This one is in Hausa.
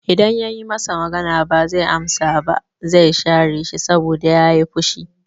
I dan yayi masa magana ba zai amsa ba, zai share shi saboda yayi fushi